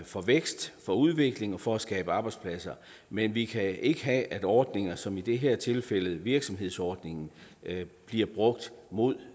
for vækst for udvikling og for at skabe arbejdspladser men vi kan ikke have at ordninger som i det her tilfælde virksomhedsordningen bliver brugt mod